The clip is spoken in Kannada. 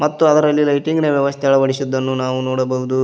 ಮತ್ತು ಅದರಲ್ಲಿ ಲೈಟಿಂಗ್ ನ ವ್ಯವಸ್ಥೆ ಅಳವಡಿಸಿದ್ದನ್ನು ನಾವು ನೋಡಬಹುದು.